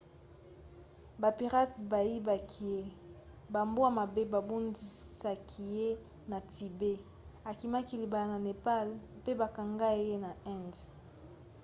bapirate bayibaki ye bambwa mabe babundisaki ye na tibet akimaki libala na népal mpe bakangai ye na inde